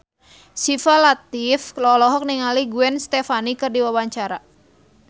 Syifa Latief olohok ningali Gwen Stefani keur diwawancara